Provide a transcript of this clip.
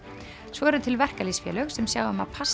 svo eru til verkalýðsfélög sem sjá um að passa